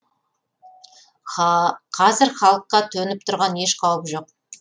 қазір халыққа төніп тұрған еш қауіп жоқ